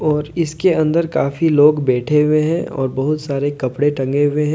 और इसके अंदर काफी लोग बैठे हुए हैं और बहुत सारे कपड़े टंगे हुए हैं।